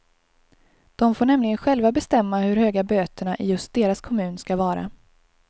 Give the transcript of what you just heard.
De får nämligen själva bestämma hur höga böterna i just deras kommun ska vara.